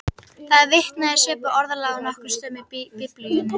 Það er vitnað í svipað orðalag á nokkrum stöðum í Biblíunni.